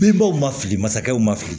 Bebɔw mali masakɛw ma fili